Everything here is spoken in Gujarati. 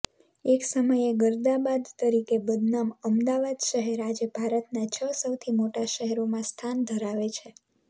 એકસમયે ગર્દાબાદ તરીકે બદનામ અમદાવાદ શહેર આજે ભારતના છ સૌથી મોટા શહેરોમાં સ્થાન ધરાવે છે